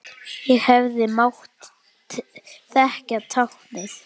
Ég hefði mátt þekkja táknið.